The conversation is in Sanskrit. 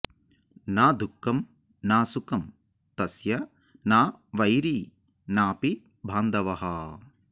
न दुःखं न सुखं तस्य न वैरी नापि बान्धवः